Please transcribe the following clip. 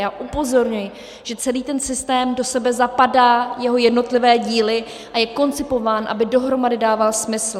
Já upozorňuji, že celý ten systém do sebe zapadá, jeho jednotlivé díly, a je koncipován, aby dohromady dával smysl.